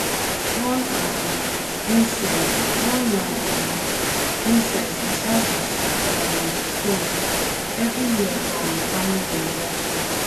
burn um incense burn um incense beside di um stone every year from farming anniversary.